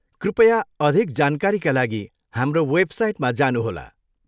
कृपया अधिक जानकारीका लागि हाम्रो वेबसाइटमा जानुहोला।